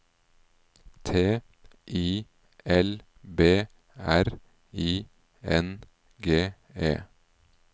T I L B R I N G E